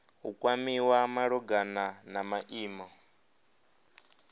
u kwamiwa malugana na maimo